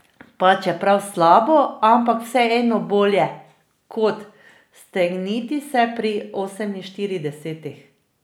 Pa čeprav slabo, ampak vseeno bolje kot stegniti se pri oseminštiridesetih.